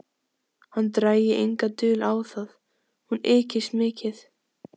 Hann drægi enga dul á það: hún ykist mikið.